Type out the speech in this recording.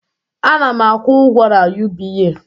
Ana m akwụ ụgwọ na UBA